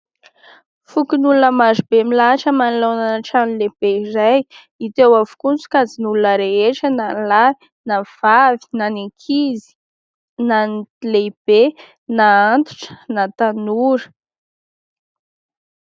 Fokonolona maro be milahatra manoloana ny trano lehibe iray. Hita eo avokoa ny sokajin'olona rehetra, na lahy na vavy, na ny ankizy na ny lehibe, na ny antitra na ny tanora.